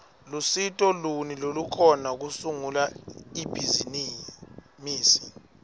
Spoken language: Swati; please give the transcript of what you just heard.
lusito luni lolukhona kusungula ibhizimisi